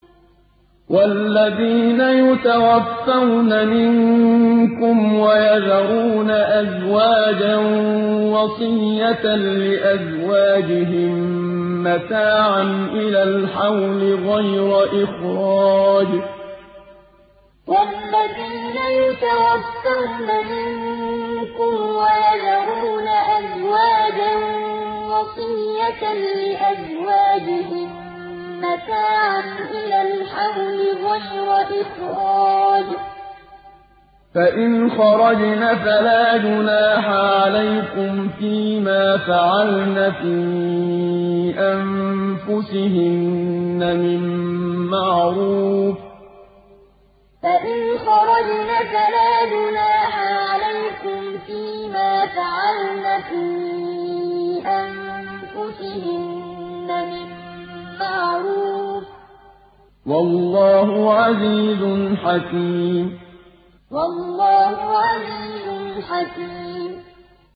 وَالَّذِينَ يُتَوَفَّوْنَ مِنكُمْ وَيَذَرُونَ أَزْوَاجًا وَصِيَّةً لِّأَزْوَاجِهِم مَّتَاعًا إِلَى الْحَوْلِ غَيْرَ إِخْرَاجٍ ۚ فَإِنْ خَرَجْنَ فَلَا جُنَاحَ عَلَيْكُمْ فِي مَا فَعَلْنَ فِي أَنفُسِهِنَّ مِن مَّعْرُوفٍ ۗ وَاللَّهُ عَزِيزٌ حَكِيمٌ وَالَّذِينَ يُتَوَفَّوْنَ مِنكُمْ وَيَذَرُونَ أَزْوَاجًا وَصِيَّةً لِّأَزْوَاجِهِم مَّتَاعًا إِلَى الْحَوْلِ غَيْرَ إِخْرَاجٍ ۚ فَإِنْ خَرَجْنَ فَلَا جُنَاحَ عَلَيْكُمْ فِي مَا فَعَلْنَ فِي أَنفُسِهِنَّ مِن مَّعْرُوفٍ ۗ وَاللَّهُ عَزِيزٌ حَكِيمٌ